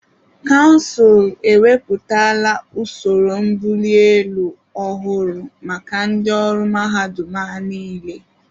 Kansụl ewepụtala usoro mbụli elu ọhụrụ maka ndị ọrụ mahadum a niile.